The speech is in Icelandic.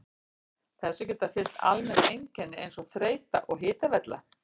Þessu geta fylgt almenn einkenni eins og þreyta og hitavella.